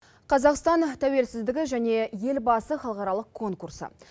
қазақстан тәуелсіздігі және елбасы халықаралық конкурсы